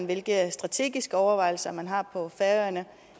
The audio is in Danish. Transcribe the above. hvilke strategiske overvejelser man har på færøerne